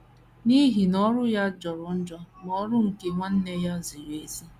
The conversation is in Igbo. N’ihi na ọrụ ya jọrọ njọ, ma ọrụ nke nwanne ya ziri ezi.